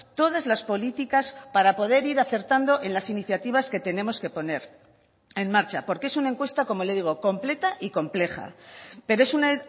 todas las políticas para poder ir acertando en las iniciativas que tenemos que poner en marcha porque es una encuesta como le digo completa y compleja pero es una